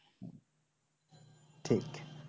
ঠিক